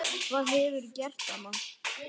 Hvað hefurðu gert amma?